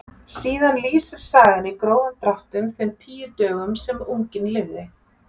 Síðan lýsir sagan í grófum dráttum þeim tíu dögum sem unginn lifði.